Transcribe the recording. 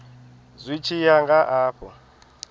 zwi tshi ya nga afho